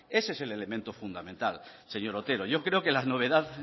ese es el elemento fundamental señor otero yo creo que la novedad